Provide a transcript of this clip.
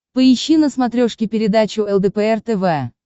поищи на смотрешке передачу лдпр тв